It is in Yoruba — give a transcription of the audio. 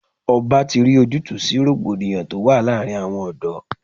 Ọba ti rí ojútùú sí rògbòdìyàn tó wà láàárín àwọn ọ̀dọ́.